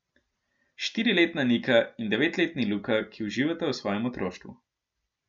Štiriletna Nika in dveletni Luka, ki uživata v svojem otroštvu.